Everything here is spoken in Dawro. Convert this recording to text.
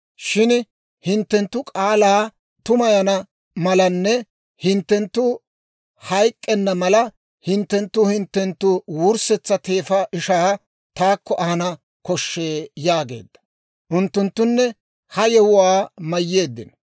shin hinttenttu k'aalaa tumayana malanne hinttenttu hayk'k'enna mala hinttenttu hinttenttu wurssetsa teefa ishaa taakko ahana koshshee» yaageedda. Unttunttunne ha yewuwaa mayyeeddino.